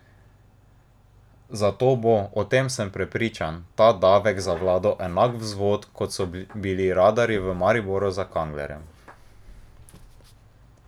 Zato bo, o tem sem prepričan, ta davek za vlado enak vzvod, kot so bili radarji v Mariboru za Kanglerja.